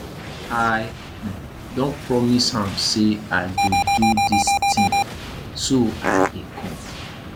i um don promise am say i go do dis thing so i dey come